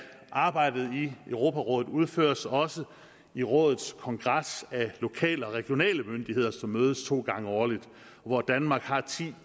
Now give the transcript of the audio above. arbejdet i europarådet udføres også i rådets kongres af lokale og regionale myndigheder som mødes to gange årligt og hvor danmark har ti